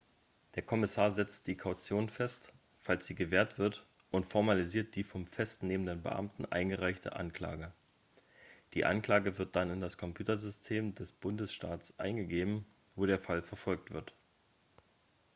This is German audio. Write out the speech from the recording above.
der kommissar setzt die kaution fest falls sie gewährt wird und formalisiert die vom festnehmenden beamten eingereichte anklage die anklage wird dann in das computersystem des bundesstaates eingegeben wo der fall verfolgt wird